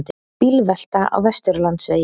Bílvelta á Vesturlandsvegi